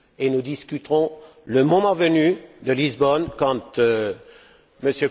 Nous discuterons, le moment venu, de Lisbonne, quand